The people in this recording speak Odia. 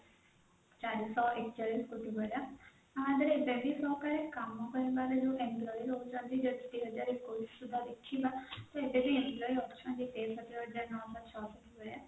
ଚାରି ସହ ଏକଚାଳିଶ କୋଟି ଭଳିଆ ମାନେ ଯେବେଠୁ କାମ ହଉଛି employee ରହୁଛନ୍ତି ଭଳିଆ